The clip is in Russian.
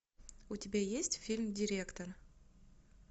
у тебя есть фильм директор